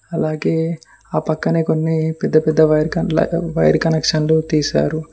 అలాగే ఆ పక్కనే కొన్ని పెద్ద పెద్ద వైర్ కనెక్షన్లు తీశారు.